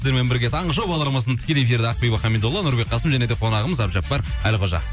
сіздермен бірге таңғы шоу бағдарламасының тікелей эфирде ақбибі хамидолла нұрбек қасым және де қонағымыз әбдіжаппар әлқожа